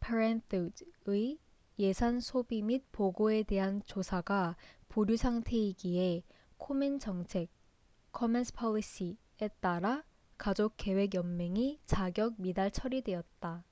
parenthood의 예산 소비 및 보고에 대한 조사가 보류 상태이기에 코멘 정책komen's policy에 따라 가족계획 연맹이 자격 미달 처리되었다